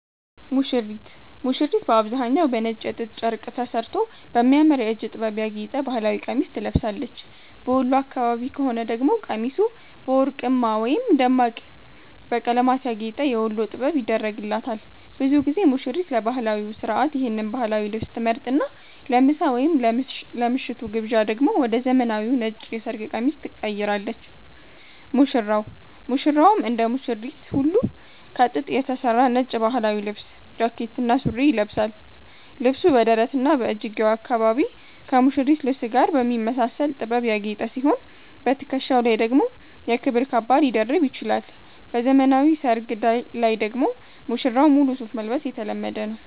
ሙሽሪት፦ ሙሽሪት በአብዛኛው በነጭ የጥጥ ጨርቅ ተሠርቶ በሚያምር የእጅ ጥበብ ያጌጠ ባህላዊ ቀሚስ ትለብሳለች። በወሎ አካባቢ ከሆነ ደግሞ ቀሚሱ በወርቅማ ወይም ደማቅ በቀለማት ያጌጠ "የወሎ ጥበብ" ይደረግላታል። ብዙ ጊዜ ሙሽሪት ለባህላዊው ሥርዓት ይህን ባህላዊ ልብስ ትመርጥና፣ ለምሳ ወይም ለምሽቱ ግብዣ ደግሞ ወደ ዘመናዊው ነጭ የሰርግ ቀሚስ ትቀይራለች። ሙሽራው፦ ሙሽራውም እንደ ሙሽሪት ሁሉ ከጥጥ የተሠራ ነጭ ባህላዊ ልብስ (ጃኬትና ሱሪ) ይለብሳል። ልብሱ በደረትና በእጅጌው አካባቢ ከሙሽሪት ልብስ ጋር በሚመሳሰል ጥበብ ያጌጠ ሲሆን፣ በትከሻው ላይ ደግሞ የክብር ካባ ሊደርብ ይችላል። በዘመናዊ ሰርግ ላይ ደግሞ ሙሽራው ሙሉ ሱፍ መልበስ የተለመደ ነው።